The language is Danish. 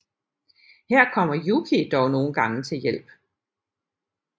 Her kommer Yuki dog nogle gange til hjælp